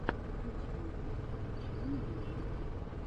в ютьюбе включи мне мультфильмы